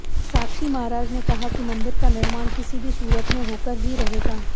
साक्षी महाराज ने कहा कि मंदिर का निर्माण किसी भी सूरत में होकर ही रहेगा